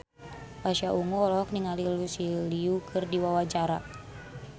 Pasha Ungu olohok ningali Lucy Liu keur diwawancara